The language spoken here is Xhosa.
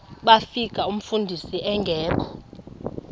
bafika umfundisi engekho